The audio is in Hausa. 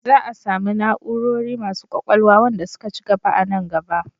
Za a samu na'orori masu ƙwaƙwalwa wanda suka ci gaba a nan gaba.